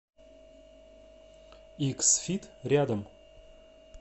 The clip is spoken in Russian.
икс фит рядом